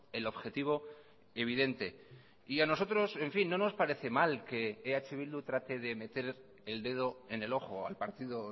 el objetivo evidente y a nosotros en fin no nos parece mal que eh bildu trate de meter el dedo en el ojo al partido